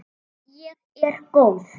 Og ég er góð.